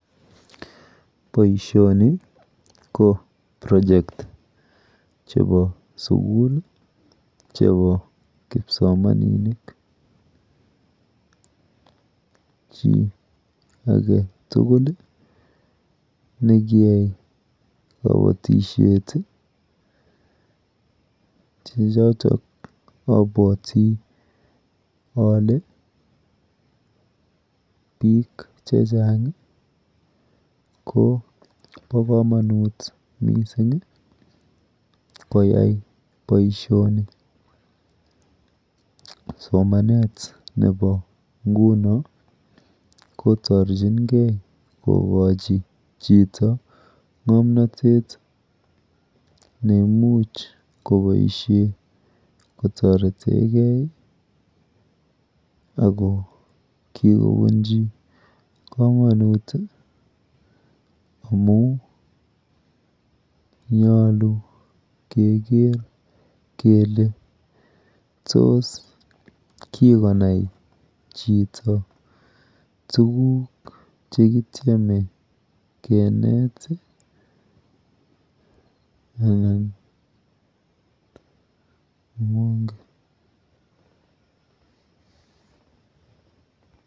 Boishoni ko project chepo sukul chepo kipsomaninik. Chi aketugul chekiyai kabatishet che choto abwoti ale biik chechang po komonut mising koyai boishoni. Somanet nepo nguno kotorchingei kokochi chito ng'omnatet neimuch koboishe kotoretegei ako kikobunchi komonut amu nyolu keker kele tos kokonai chito tuguk chekityeme kenet anan mengen.